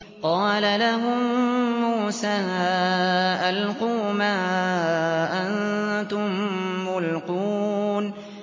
قَالَ لَهُم مُّوسَىٰ أَلْقُوا مَا أَنتُم مُّلْقُونَ